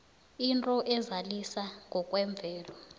into ezalisa ngokwemvelo